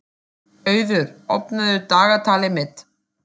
Auður, opnaðu dagatalið mitt.